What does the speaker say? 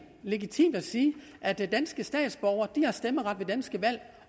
legitimt at sige at danske statsborgere har stemmeret ved danske valg